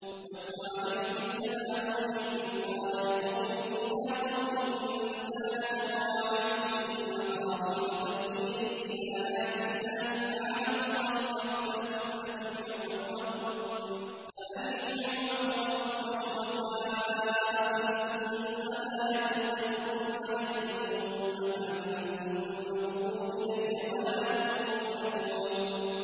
۞ وَاتْلُ عَلَيْهِمْ نَبَأَ نُوحٍ إِذْ قَالَ لِقَوْمِهِ يَا قَوْمِ إِن كَانَ كَبُرَ عَلَيْكُم مَّقَامِي وَتَذْكِيرِي بِآيَاتِ اللَّهِ فَعَلَى اللَّهِ تَوَكَّلْتُ فَأَجْمِعُوا أَمْرَكُمْ وَشُرَكَاءَكُمْ ثُمَّ لَا يَكُنْ أَمْرُكُمْ عَلَيْكُمْ غُمَّةً ثُمَّ اقْضُوا إِلَيَّ وَلَا تُنظِرُونِ